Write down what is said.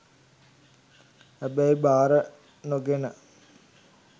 හැබැයි බාර නොගෙන